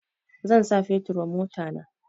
Zan sha fetur wa motana